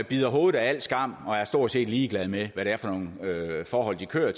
bider hovedet af al skam og stort set er ligeglade med hvad det er for nogle forhold de kører